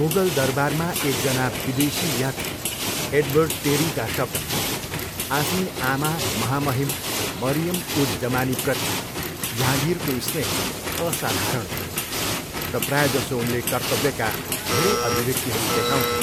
मुगल दरबारमा एकजना विदेशी यात्री एडवर्ड टेरीका शब्दमा, आफ्नी आमा महामहिम मरियम उज जमानीप्रति जहाँगिरको स्नेह असाधारण थियो, र प्रायःजसो उनले कर्तव्यका धेरै अभिव्यक्तिहरू देखाउँथे